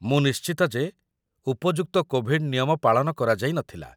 ମୁଁ ନିଶ୍ଚିତ ଯେ ଉପଯୁକ୍ତ କୋଭିଡ ନିୟମ ପାଳନ କରାଯାଇ ନଥିଲା